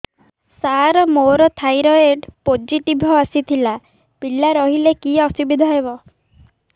ସାର ମୋର thyroid positive ଆସିଥିଲା ପିଲା ରହିଲେ କି ଅସୁବିଧା ହେବ